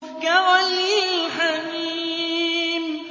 كَغَلْيِ الْحَمِيمِ